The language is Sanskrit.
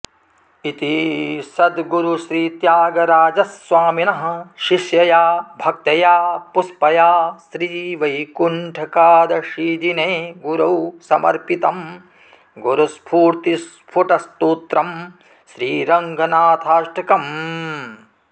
इति सद्गुरुश्रीत्यागराजस्वामिनः शिष्यया भक्तया पुष्पया श्रीवैकुण्ठैकादशीदिने गुरौ समर्पितम् गुरुस्फूर्तिस्फुटस्तोत्रम् श्रीरङ्गनाथाष्टकम्